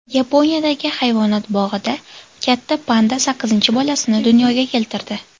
Yaponiyadagi hayvonot bog‘ida katta panda sakkizinchi bolasini dunyoga keltirdi.